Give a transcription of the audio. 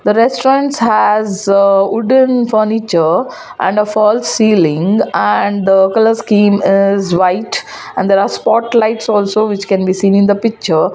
the restaurants has ah wooden furniture and a fall ceiling and ah is white and there are spot lights also which can be seen in the picture.